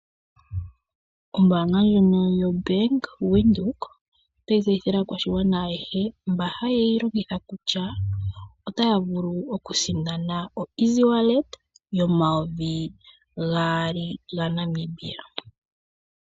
Ombaanga ndjono yoBank Windhoek otayi tseyithile aakwashigwana ayehe mba haye yi longitha kutya otaya vulu okusindana oeasywallet yomayovi gaali gaNamibia.